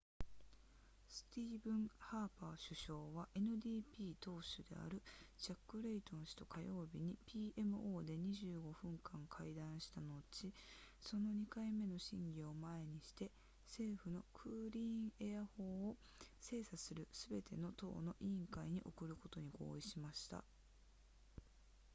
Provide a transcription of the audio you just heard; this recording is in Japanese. スティーブンハーパー首相は ndp 党首であるジャックレイトン氏と火曜日に pmo で25分間会談した後その2回目の審議を前にして政府のクリーンエア法を精査するすべての党の委員会に送ることに合意しました